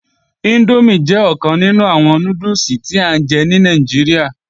Índómì jẹ́ ọ̀kan nínú àwọn núdùsì tí à ń jẹ ní Nàìjíríà